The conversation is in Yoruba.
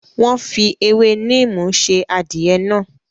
Wọ́n fi ewé neem sè adìẹ náà.